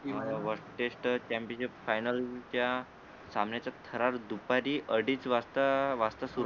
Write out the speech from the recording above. हो world test championship final च्या सामन्याच्या ठराविक दुपारी अडीच वाजता वाजता सुरु